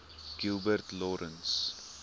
gilbert lawrence